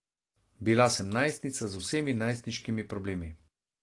Bila sem najstnica z vsemi najstniškimi problemi.